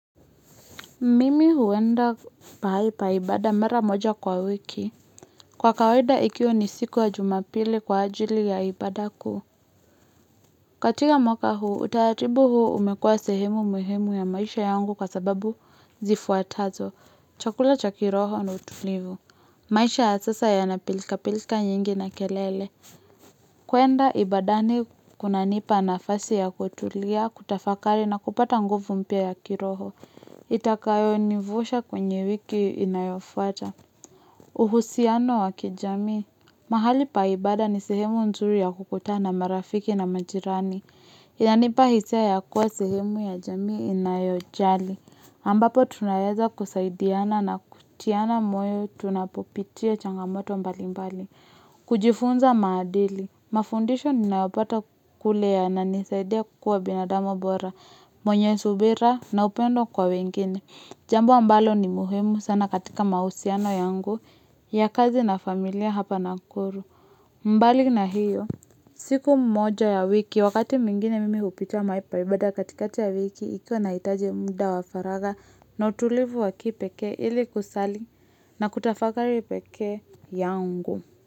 Mimi huenda pahali pa ibada mara moja kwa wiki. Kwa kawaida ikiwa ni siku ya jumapili kwa ajili ya ibada kuu. Katika mwaka huu, utaratibu huu umekua sehemu muhimu ya maisha yangu kwa sababu zifuatazo. Chakula cha kiroho na utulivu. Maisha ya sasa yana pilikapilika nyingi na kelele. Kuenda ibadani kunanipa nafasi ya kutulia, kutafakari na kupata nguvu mpya ya kiroho. Itakayonivusha kwenye wiki inayofuata. Uhusiano wa kijamii. Mahali pa ibada ni sehemu nzuri ya kukutana na marafiki na majirani. Inanipa hisia ya kuwa sehemu ya jamii inayojali. Ambapo tunaweza kusaidiana na kutiana moyo tunapopitia changamoto mbalimbali. Kujifunza maadili. Mafundisho ninayopata kule yananisaidia kukuwa binadamu bora. Mwenye subira na upendo kwa wengine. Jambo ambalo ni muhimu sana katika mahusiano yangu ya kazi na familia hapa Nakuru. Mbali na hiyo. Siku moja ya wiki wakati mwingine mimi hupitia mahali pa ibada katikati ya wiki ikiwa nahitaji muda wa faraga na utulivu wa kipekee ili kusali na kutafakari peke yangu.